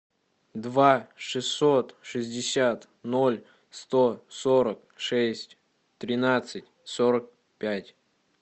два шестьсот шестьдесят ноль сто сорок шесть тринадцать сорок пять